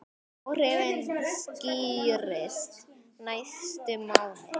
Áhrifin skýrist næstu mánuði.